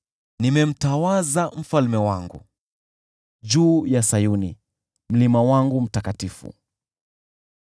“Nimemtawaza Mfalme wangu juu ya Sayuni, mlima wangu mtakatifu.”